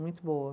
Muito boa.